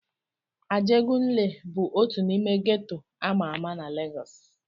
Ajegunle bụ otu n'ime geto ama ama na Legọs.